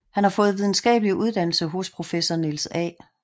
Han har fået videnskabelig uddannelse hos professor Niels A